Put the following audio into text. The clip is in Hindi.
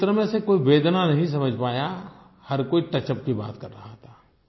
उस चित्र में से कोई वेदना नहीं समझ पाया हर कोई टचअप की बात कर रहा था